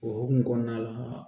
O hokumu kɔnɔna la